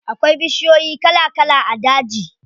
Akwai bishiyoyi kala kala a daji.